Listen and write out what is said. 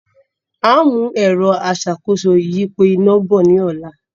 Áà mú ẹ̀rọ aṣàkóso ìyípo iná” bọ̀ ní ọ̀la